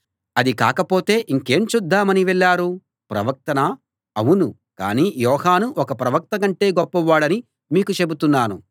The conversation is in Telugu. అది కాకపోతే ఇంకేం చూద్దామని వెళ్ళారు ప్రవక్తనా అవును కానీ యోహాను ఒక ప్రవక్త కంటే గొప్పవాడని మీకు చెబుతున్నాను